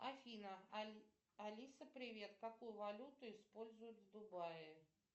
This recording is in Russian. афина алиса привет какую валюту используют в дубае